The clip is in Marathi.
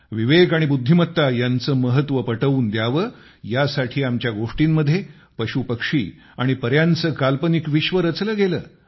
विवेक आणि बुद्धिमत्ता यांचे महत्व पटवून द्यावे यासाठी आमच्या गोष्टींमध्ये पशुपक्षी आणि पऱ्यांचे काल्पनीक विश्व रचले गेले